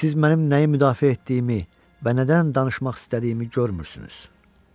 Siz mənim nəyi müdafiə etdiyimi və nədən danışmaq istədiyimi görmürsünüz.